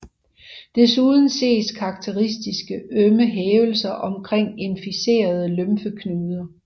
Desuden ses karakteristiske ømme hævelser omkring inficerede lymfeknuder